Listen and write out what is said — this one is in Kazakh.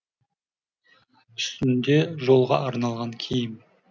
үстінде жолға арналған киім